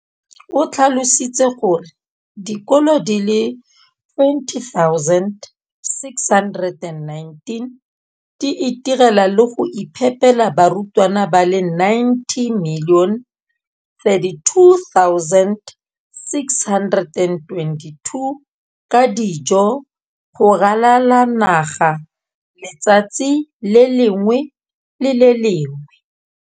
o tlhalositse gore dikolo di le 20 619 di itirela le go iphepela barutwana ba le 9 032 622 ka dijo go ralala naga letsatsi le lengwe le le lengwe.